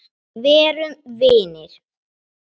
Verum vinir.